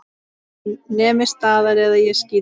Nemið staðar eða ég skýt!